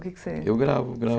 O que é que você... Eu gravo, gravo.